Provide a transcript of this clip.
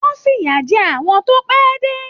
Wọn fiya jẹ àwọn tó pẹ dé.